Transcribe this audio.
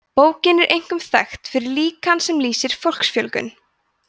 bókin er einkum þekkt fyrir líkan sem lýsir fólksfjölgun